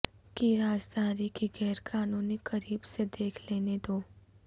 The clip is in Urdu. کی رازداری کی غیر قانونی قریب سے دیکھ لینے دو